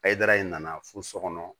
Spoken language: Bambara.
Ayi dara in nana fo so kɔnɔ